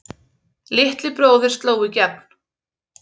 Litli bróðir sló í gegn